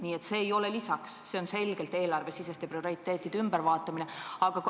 Nii et see ei ole lisaks, see on selgelt eelarvesiseste prioriteetide ülevaatamine.